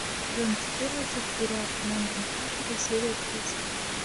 сезон четырнадцать сериал команда мстителей серия тридцать девять